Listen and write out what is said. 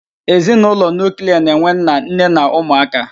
Ezinaụlọ nuuklia na-enwe nna, nne na ụmụ aka.